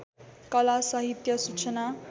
कला साहित्य सूचना